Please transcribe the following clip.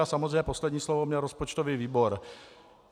A samozřejmě poslední slovo měl rozpočtový výbor.